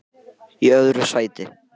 Í öðru sæti